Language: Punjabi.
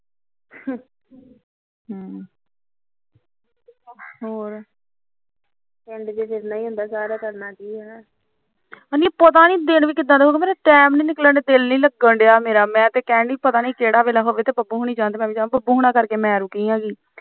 ਐ ਨੀ ਪਤਾ ਨੀ ਦਿਨ ਕਿਦਾ ਦੇ ਹੋ ਗਿਆ time ਨੀ ਨਿਕਲਦਾ ਦਿਲ ਨੀ ਲੱਗਣਡਿਆ ਮੇਰਾ ਮੈ ਤੇ ਕਹਿੰਦੀ ਕਿਹੜਾ ਵੇਲਾ ਹੋਵੇ ਬਬੂ ਹੋਣਾ ਜਾਣ ਬੱਬੂ ਹੋਣਾ ਕਰਕੇ ਮੈ ਰੁਕੀ ਹੈਗੀ